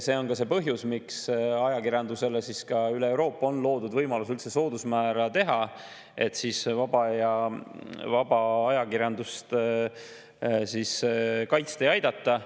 Põhjus, miks ajakirjandusele ka üle Euroopa on loodud võimalus üldse soodusmäära, on see, et vaba ajakirjandust kaitsta ja aidata.